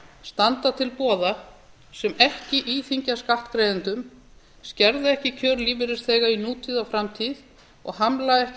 standa til boða sem ekki íþyngja skattgreiðendum skerða ekki kjör lífeyrisþega í nútíð og framtíð og hamla ekki